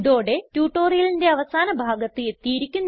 ഇതോടെ ട്യൂട്ടോറിയലിന്റെ അവസാന ഭാഗത്ത് എത്തിയിരിക്കുന്നു